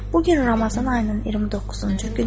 Bu gün Ramazan ayının 29-cu günüdür.